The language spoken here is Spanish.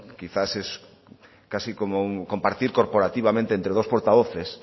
quizás es casi como compartir corporativamente entre dos portavoces